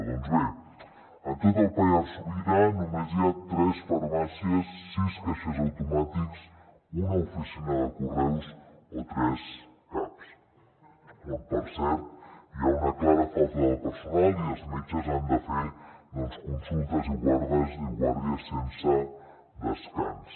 doncs bé en tot el pallars sobirà només hi ha tres farmàcies sis caixers automàtics una oficina de correus o tres caps on per cert hi ha una clara falta de personal i els metges han de fer consultes i guàrdies sense descans